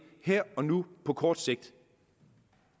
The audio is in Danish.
her og nu og på kort sigt